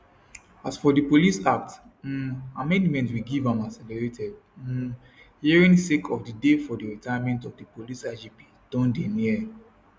as for di police act um amendmenment we give am accelerated um hearing sake of di day for di retirement of di police igp don dey near